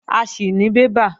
A sì ní bébà